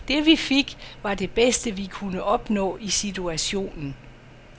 Det vi fik, var det bedste vi kunne opnå i situationen.